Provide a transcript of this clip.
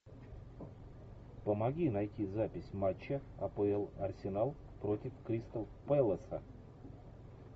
помоги найти запись матча апл арсенал против кристал пэласа